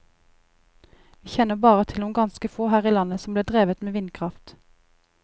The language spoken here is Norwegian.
Vi kjenner bare til noen ganske få her i landet som ble drevet med vindkraft.